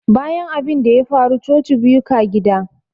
Bayan abinda ya faru coci biyu ka gida.